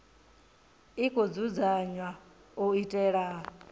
i khou dzudzanywa u itela